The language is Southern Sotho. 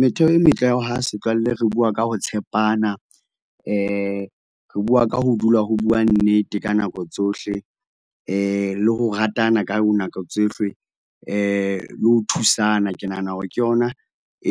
Metheo e metle ya ho aha setswalle, re bua ka ho tshepana, re re bua ka ho dula ho buawa nnete ka nako tsohle, le ho ratana ka nako tsohle, le ho thusana. Ke nahana hore ke yona